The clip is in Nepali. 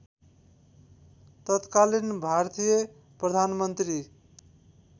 तत्कालीन भारतीय प्रधानमन्त्री